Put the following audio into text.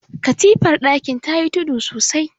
katifar dakin ta yi tudu sosai